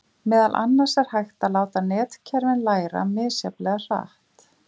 Meðal annars er hægt að láta netkerfin læra misjafnlega hratt.